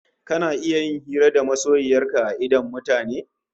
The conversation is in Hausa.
Kana iya hira da masoyiyar ka a idon mutane?